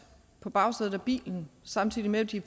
på bagsædet af bilen samtidig med at de